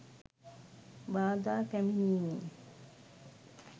බාධා පැමිණීමෙන්